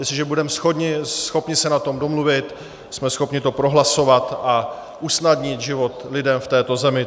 Jestliže budeme schopni se na tom domluvit, jsme schopni to prohlasovat a usnadnit život lidem v této zemi.